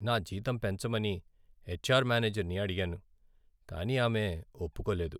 నా జీతం పెంచమని హెచ్ఆర్ మేనేజర్ని అడిగాను, కానీ ఆమె ఒప్పుకోలేదు.